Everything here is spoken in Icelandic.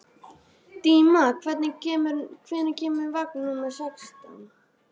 Díma, hvenær kemur vagn númer sextán?